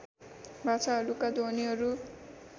भाषाहरूका ध्वनिहरू